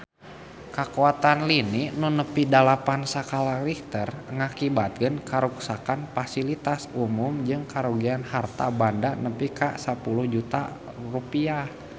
Kakuatan lini nu nepi dalapan skala Richter ngakibatkeun karuksakan pasilitas umum jeung karugian harta banda nepi ka 10 juta rupiah